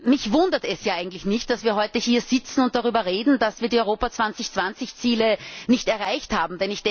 Mich wundert es eigentlich nicht, dass wir heute hier sitzen und darüber reden, dass wir die Europa 2020 Ziele nicht erreicht haben.